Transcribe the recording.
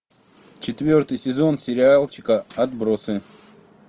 четвертый сезон сериальчика отбросы